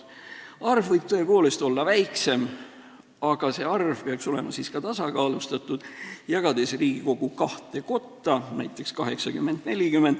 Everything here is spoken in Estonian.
Arv võib tõepoolest olla väiksem, aga see arv peaks olema siis tasakaalustatud, jagades Riigikogu kahte kotta, näiteks 80 : 40.